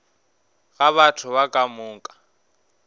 ga batho ba ka moka